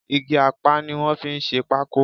Igi apá ni wọ́n fi ń ṣe pákó